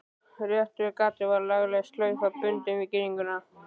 Rétt við gatið var lagleg slaufa bundin við girðinguna.